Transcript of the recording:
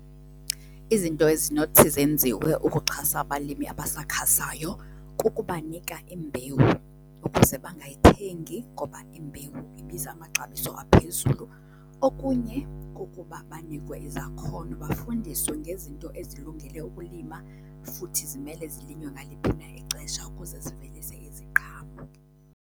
Izinto ezinothi zenziwe ukuxhasa abalimi abasakhasayo kukubanika imbewu ukuze bangayithengi ngoba imbewu ibiza amaxabiso aphezulu. Okunye kukuba banikwe izakhono bafundiswe ngezinto ezilungele ukulima futhi zimele zilinywe ngaliphi na ixesha ukuze sivelise iziqhamo.